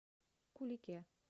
кулике